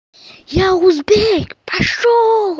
я узбек пошёл